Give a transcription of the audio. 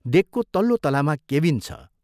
डेकको तल्लो तलामा ' केबिन ' छ।